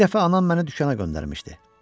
Bir dəfə anam məni dükana göndərmişdi.